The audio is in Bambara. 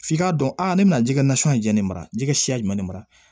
F'i k'a dɔn a ne bɛ ji kɛ nasɔngɔ jɛni mara jikasiyalen mara